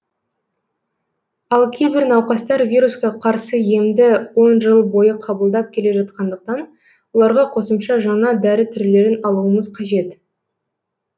ал кейбір науқастар вирусқа қарсы емді он жыл бойы қабылдап келе жатқандықтан оларға қосымша жаңа дәрі түрлерін алуымыз қажет